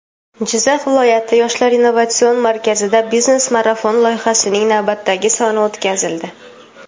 Jizzax viloyati "Yoshlar innovatsion markazi"da "Biznes marafon" loyihasining navbatdagi soni o‘tkazildi.